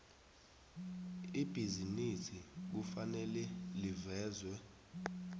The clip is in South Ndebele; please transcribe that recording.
ibhizinisi kufanele livezwe